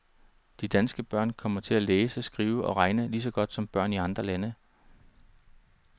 De danske børn kommer til at læse, skrive og regne lige så godt som børn i andre lande.